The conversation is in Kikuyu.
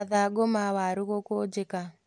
Mathangũ ma waru gũkũnjĩka